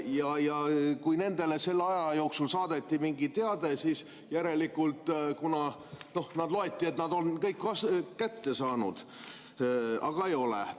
Ja kui kellelegi selle aja jooksul saadeti mingi teade, siis järelikult loeti, et ta on kõik teate kätte saanud, aga ei olnud.